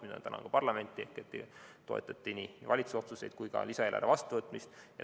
Ma tänan parlamenti, et toetati nii valitsuse otsuseid kui ka lisaeelarve vastuvõtmist.